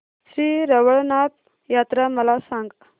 श्री रवळनाथ यात्रा मला सांग